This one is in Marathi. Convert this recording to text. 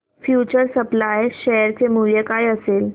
फ्यूचर सप्लाय शेअर चे मूल्य काय असेल